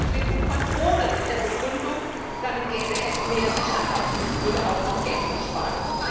für die Entwicklung von Drohnen, mit der Begründung, damit gäbe es mehr Sicherheit und es würde auch noch Geld gespart.